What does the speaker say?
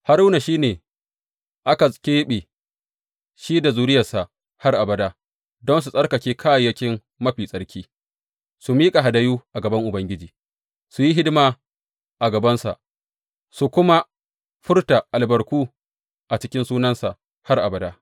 Haruna shi ne aka keɓe, shi da zuriyarsa har abada, don su tsarkake kayayyakin mafi tsarki, su miƙa hadayu a gaban Ubangiji, su yi hidima a gabansa su kuma furta albarku a cikin sunansa har abada.